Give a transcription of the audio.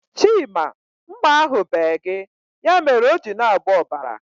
Chima, mma ahu bee gị. Ya mere o ji na-agba ọbara